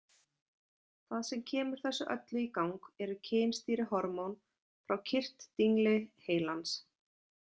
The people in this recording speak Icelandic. Það sem kemur þessu öllu í gang eru kynstýrihormón frá kirtildingli heilans.